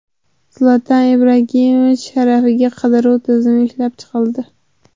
Zlatan Ibragimovich sharafiga qidiruv tizimi ishlab chiqildi.